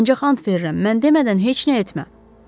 Ancaq and verirəm, mən demədən heç nə etmə.